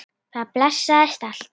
Það blessaðist allt.